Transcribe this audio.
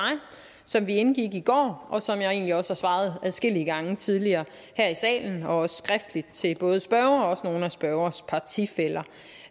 som vi indgik i går og som jeg egentlig også har svaret adskillige gange tidligere her i salen og også skriftligt til både spørgeren og nogle af spørgerens partifæller